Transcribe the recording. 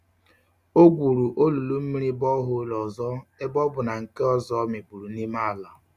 O gwuru olulu mmiri bore hole ozo ebe o bu na nke ozo mikpuru n'ime ala.